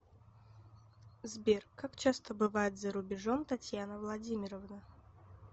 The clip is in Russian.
сбер как часто бывает за рубежом татьяна владимировна